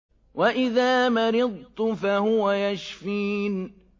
وَإِذَا مَرِضْتُ فَهُوَ يَشْفِينِ